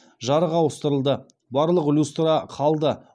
жарық ауыстырылды барлық люстра қалды